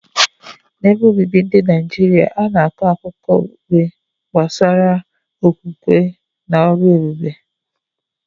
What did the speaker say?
N’ebe obibi ndị Naijiria, a na-akọ akụkọ okpukpe gbasara okwukwe na ọrụ ebube.